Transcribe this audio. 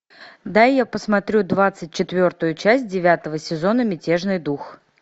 дай я посмотрю двадцать четвертую часть девятого сезона мятежный дух